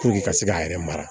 ka se k'a yɛrɛ mara